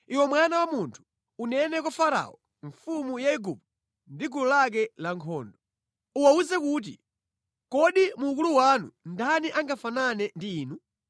“Iwe mwana wa munthu, unene kwa Farao mfumu ya Igupto ndi gulu lake lankhondo. Awawuze kuti, “ ‘Kodi mu ukulu wanu ndani angafanane ndi inu?